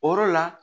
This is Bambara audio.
O yɔrɔ la